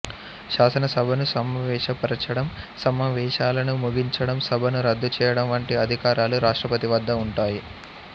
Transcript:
శాసనసభను సమావేశపరచడం సమావేశాలను ముగించడం సభను రద్దు చెయ్యడం వంటి అధికారాలు రాష్ట్రపతి వద్ద ఉంటాయి